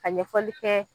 Ka ɲɛfɔli kɛ